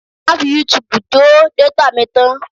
Má fi Youtube jó détà mi tán!